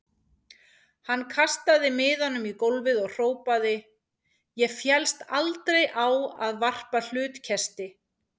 Hann kastaði miðanum í gólfið og hrópaði: Ég féllst aldrei á að varpa hlutkesti.